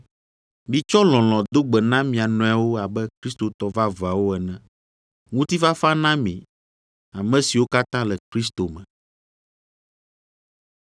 Mitsɔ lɔlɔ̃ do gbe na mia nɔewo abe Kristotɔ vavãwo ene. Ŋutifafa na mi ame siwo katã le Kristo me.